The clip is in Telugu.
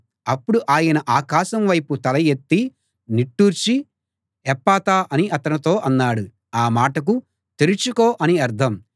అప్పుడు ఆయన ఆకాశం వైపు తల ఎత్తి నిట్టూర్చి ఎప్ఫతా అని అతనితో అన్నాడు ఆ మాటకు తెరుచుకో అని అర్థం